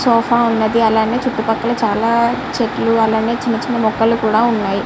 Sofa ఉన్నది. అలాగే చుట్టుపక్కల చాలా చెట్లు అలాగే చిన్న చిన్న ముక్కలు కూడా ఉన్నాయి.